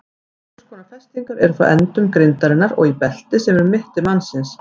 Einhvers konar festingar eru frá endum grindarinnar og í belti sem er um mitti mannsins.